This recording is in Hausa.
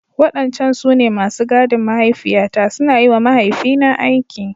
Wadancan su ne masu gadin mahaifiyata, suna yi wa mahaifina aiki.